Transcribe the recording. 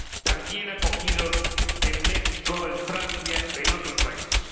también acogidos en México, en Francia y en otros países.